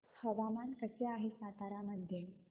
हवामान कसे आहे सातारा मध्ये